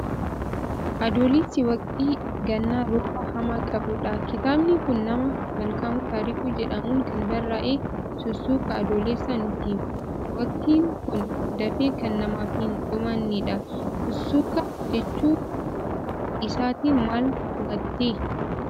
Adoolessi waqtii gannaa, rooba hamaa qabudha. Kitaabni kun nama Malkaamuu Taarikuu jedhamuun kan barraa'e, Sussuka Adoolessaa nutti hima. Waqtiin kun dafee kan namaf hin dhumannedha. Sussuka jechuu isaatiin maal hubatte?